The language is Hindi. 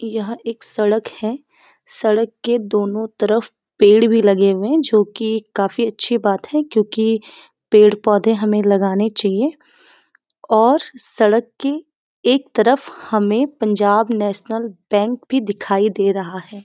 यहाँ एक सड़क है सड़क के दोनों तरफ पेड़ भी लगे हुए हैं जो की काफी अच्छी बात है क्यूंकि पेड़ पौधे हमें लगाने चाहिए और सड़क की एक तरफ हमें पंजाब नैशनल बैंक भी दिखाई दे रहा है।